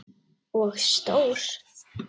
Og stór.